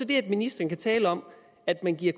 det at ministeren kan tale om at man giver